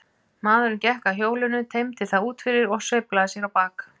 Maðurinn gekk að hjólinu, teymdi það út fyrir og sveiflaði sér á bak.